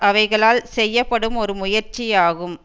அவைகளால் செய்யப்படும் ஒரு முயற்சி ஆகும்